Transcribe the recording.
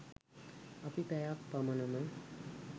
අපි පැයක් පමණම